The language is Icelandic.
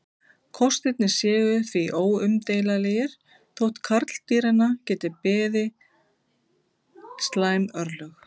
Kostirnir séu því óumdeilanlegir þótt karldýranna geti beði slæm örlög.